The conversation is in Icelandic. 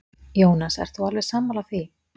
Jónas: Ert þú alveg sammála því?